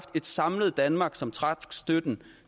et samlet danmark som trak støtten